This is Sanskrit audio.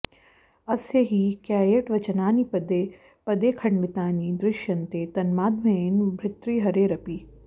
अस्य हि कैयटवचनानि पदे पदे खण्डितानि दृश्यन्ते तन्माध्यमेन भतृहरेरपि